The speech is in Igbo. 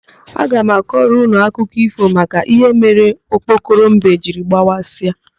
Aga m akọrọ ụnụ akụkọ ífò maka íhé mere okpokoro mbe jiri gbawasịa.